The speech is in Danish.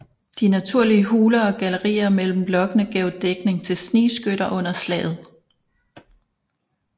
De naturlige huler og gallerier mellem blokkene gav dækning til snigskytter under slaget